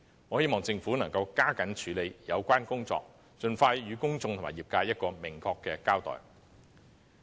我希望政府能加緊處理相關工作，盡快向公眾和業界作出明確的交代。